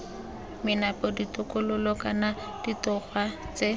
menape ditokololo kana ditogwa tse